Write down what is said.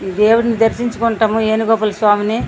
ఈ దేవున్ని దరిశించుకుంటాము వేణు గోపాల స్వామిని.